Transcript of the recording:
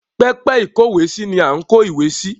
Pẹpẹ ìkówèésí ni à ń kó ìwé sí.